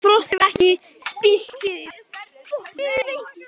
Frost hefur ekki spillt fyrir